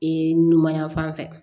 Ee numan yan fan fɛ